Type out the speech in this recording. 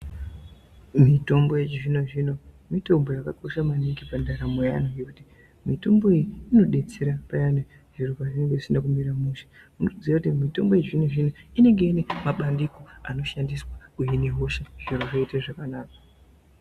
Mitombo yechizvino zvino mitombo yakakosha maningi pandaramo yeantu. Ngekuti mitombo iyoyo inodetsera payani zviro pazvinenge zvisina kumira mushe. Muchiziya kuti mitombo yechizvino zvino inenge ine mabandiko ekuhina hosha. Nyama dzoita zvakanaka.